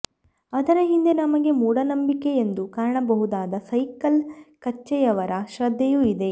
ಅದರ ಹಿಂದೆ ನಮಗೆ ಮೂಢನಂಬಿಕೆಯೆಂದು ಕಾಣಬಹುದಾದ ಸೈಕಲ್ ಕಚ್ಚೆಯವರ ಶ್ರದ್ಧೆಯೂ ಇದೆ